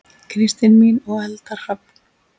Kristín mín og Eldar Hrafn.